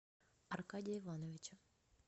аркадия ивановича